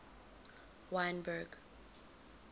wynberg